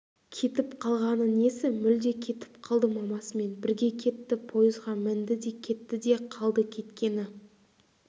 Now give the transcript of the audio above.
кетіп қалғаны несі мүлде кетіп қалды мамасымен бірге кетті пойызға мінді де кетті де қалды кеткені